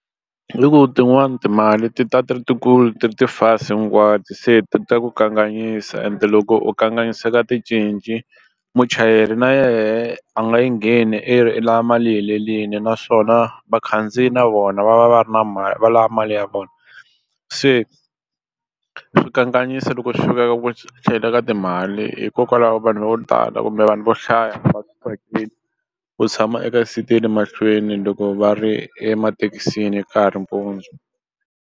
Hi loko tin'wani timali ti ta ti ri ti kulu ti ri ti fasi hinkwato se ta ku kanganyisa and loko u kanganyiseka ticinci muchayeri na yena a nga yi ngheni i ri i lava mali yi helerile naswona vakhandziyi na vona va va va ri na mali va lava mali ya vona se swi kanganyisa loko swi fika eka ku tlhela ka timali hikokwalaho vanhu vo tala kumbe vanhu vo hlaya va swi tsakeli ku tshama eka seat ya le mahlweni loko va ri emathekisini ka ha ri mpundzu.